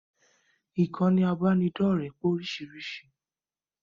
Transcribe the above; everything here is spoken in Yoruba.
Ìkànnì ibanidọ̀rẹ́ pé oríṣiríṣi